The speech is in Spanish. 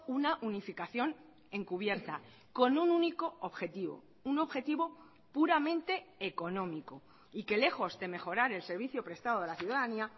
una unificación encubierta con un único objetivo un objetivo puramente económico y que lejos de mejorar el servicio prestado de la ciudadanía